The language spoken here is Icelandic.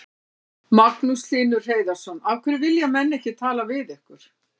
Magnús Hlynur Hreiðarsson: Af hverju vilja menn ekki tala við ykkur?